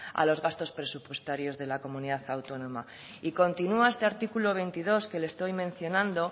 a los gastos presupuestarios de la comunidad autónoma y continúa este artículo veintidós que le estoy mencionando